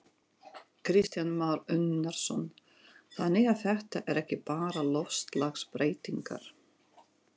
Kristján Már Unnarsson: Þannig að þetta er ekki bara loftslagsbreytingar?